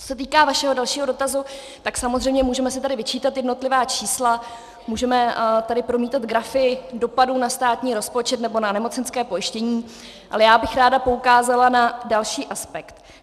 Co se týká vašeho dalšího dotazu, tak samozřejmě můžeme si tady vyčítat jednotlivá čísla, můžeme tady promítat grafy dopadů na státní rozpočet nebo na nemocenské pojištění, ale já bych ráda poukázala na další aspekt.